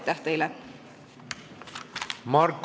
Aitäh teile!